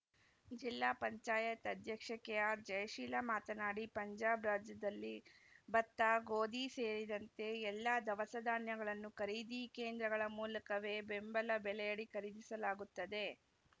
ಜಿಲ್ಲಾ ಪಂಚಾಯತ್ ಅಧ್ಯಕ್ಷೆ ಕೆಆರ್‌ಜಯಶೀಲ ಮಾತನಾಡಿ ಪಂಜಾಬ್‌ ರಾಜ್ಯದಲ್ಲಿ ಬತ್ತ ಗೋಧಿ ಸೇರಿದಂತೆ ಎಲ್ಲಾ ದವಸ ಧಾನ್ಯಗಳನ್ನು ಖರೀದಿ ಕೇಂದ್ರಗಳ ಮೂಲಕವೇ ಬೆಂಬಲ ಬೆಲೆಯಡಿ ಖರೀದಿಸಲಾಗುತ್ತದೆ